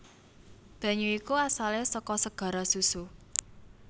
Banyu iku asalé saka segara susu